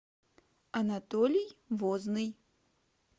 анатолий возный